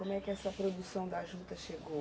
Como é que essa produção da juta chegou?